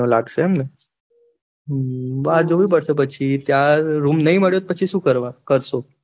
મહિનો લાગશે એમ ને, બાર જવું પડશે પછી ત્યાં રુમ નાઈ મળિયો તો પછી શું કરવાનું, કરસો